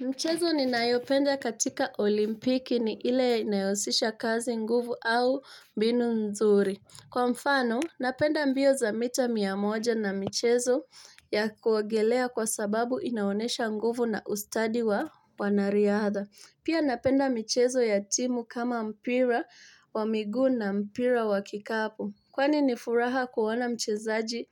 Michezo ni nayopenda katika olimpiki ni ile inayohusisha kazi nguvu au binu nzuri. Kwa mfano, napenda mbio za mita mia moja na michezo ya kuogelea kwa sababu inaonyesha nguvu na ustadi wa wanariadha. Pia napenda michezo ya timu kama mpira wa miguu na mpira wa kikapu. Kwani nifuraha kuona mchezaji